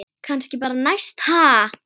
Kannski bara næst, ha!